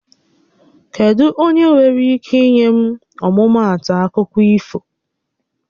Kedụ onyé nwéré íké inye m ọmụmaatụ akụkọ ifo?